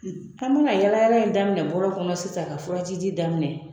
An be ka yala yala in daminɛ bɔlɔn kɔnɔ sisan ka furaji di daminɛ